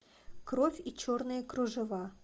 кровь и черные кружева